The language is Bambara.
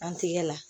An tigɛ la